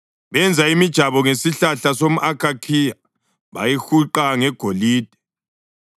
Benza imijabo ngesihlahla somʼakhakhiya bayihuqa ngegolide.